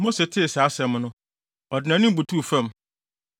Mose tee saa asɛm no, ɔde nʼanim butuw fam.